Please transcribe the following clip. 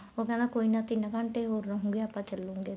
ਉਹ ਕਹਿੰਦਾ ਕੋਈ ਨਾ ਤਿੰਨ ਘੰਟੇ ਹੋਰ ਰਹੂਗੇ ਆਪਾਂ ਚਲੂਗੇ ਇੱਥੋ